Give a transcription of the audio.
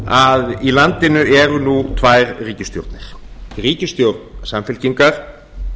að í landinu eru nú tvær ríkisstjórnir ríkisstjórn samfylkingar